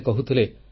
ସେ କହୁଥିଲେ